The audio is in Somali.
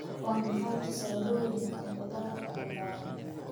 " Waa maxay tusaalooyinka khudaarta cagaaran?"